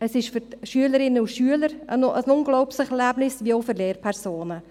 Es ist für die Schülerinnen und Schüler ein unglaubliches Erlebnis, wie auch für Lehrpersonen.